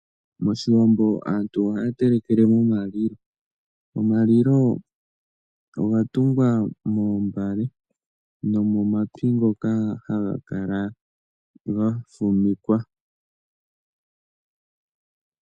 Pashiwambo aantu ohaya telekele pomalilo. Omalilo oga tungwa moombale nomomapi ngoka haga kala ga fumikwa.